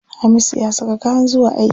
Hamisu ya saka kayan zuwa aiki.